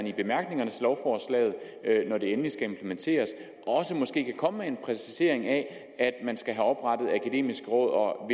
i bemærkningerne til lovforslaget når det endelig skal implementeres måske kan komme med en præcisering af at man skal have oprettet akademiske råd og